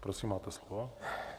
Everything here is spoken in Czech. Prosím, máte slovo.